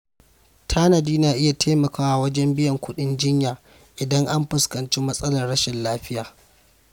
Tanadi na iya taimakawa wajen biyan kuɗin jinya idan an fuskanci matsalar rashin lafiya.